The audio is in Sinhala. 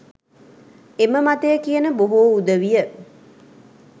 එම මතය කියන බොහෝ උදවිය